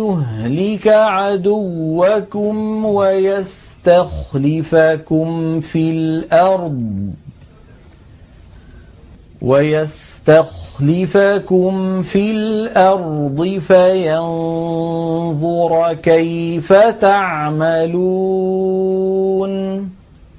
يُهْلِكَ عَدُوَّكُمْ وَيَسْتَخْلِفَكُمْ فِي الْأَرْضِ فَيَنظُرَ كَيْفَ تَعْمَلُونَ